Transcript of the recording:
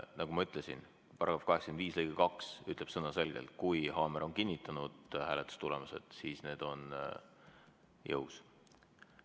Nagu ma ütlesin, § 85 lõige 2 ütleb sõnaselgelt: kui haamer on kinnitanud hääletustulemused, siis need on jõus.